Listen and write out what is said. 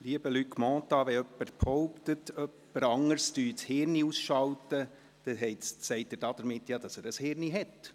Lieber Luc Mentha, wenn jemand behauptet, jemand anderes würde sein Hirn ausschalten, dann sagt er damit, dass dieser überhaupt ein Hirn hat.